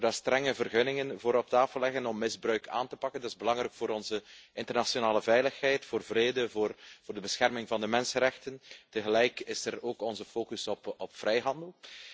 Dat we daarvoor strenge vergunningen op tafel leggen om misbruik aan te pakken. Dat is belangrijk voor onze internationale veiligheid, voor vrede, voor de bescherming van de mensenrechten. Tegelijk is er ook onze focus op vrijhandel.